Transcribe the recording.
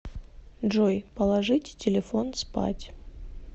джой положить телефон спать